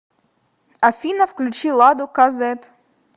афина включи ладу ка зэт